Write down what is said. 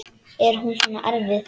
Er hún svona erfið?